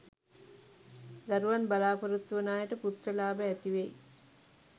දරුවන් බලාපොරොත්තු වන අයට පුත්‍ර ලාභ ඇතිවෙයි